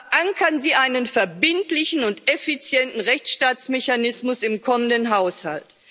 Verankern Sie einen verbindlichen und effizienten Rechtsstaatsmechanismus im kommenden Haushalt.